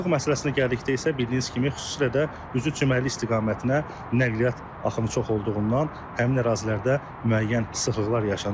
Sıxlıq məsələsinə gəldikdə isə bildiyiniz kimi xüsusilə də üzü çimərlik istiqamətinə nəqliyyat axımı çox olduğundan həmin ərazilərdə müəyyən sıxlıqlar yaşanır.